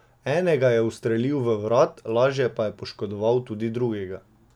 Enega je ustrelil v vrat, lažje pa je poškodoval tudi drugega.